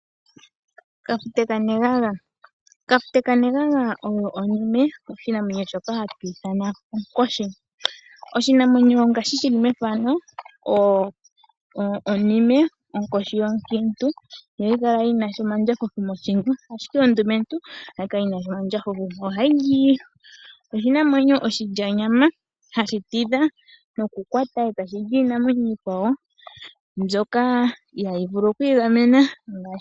Onkoshi oyo oshinamwenyo shoka hatwiithana kafute kanenganga. Onkoshi ondumentu oyina omandjafufu mothingo, omanga onkoshi onkiintu kayi nasha omandjafufu mothingo. Onkoshi oha yili onyama unene yiinamwenyo iikwawo ndjoka ihayi vulu okwiigamena .